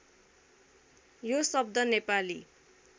यो शब्द नेपाली